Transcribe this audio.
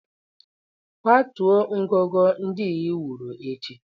Kwatuo ngọngọ ndị ị wuru ụnyaahụ.